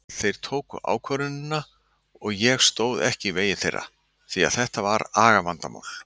Þeir tóku ákvörðunina og ég stóð ekki í vegi þeirra því að þetta var agavandamál.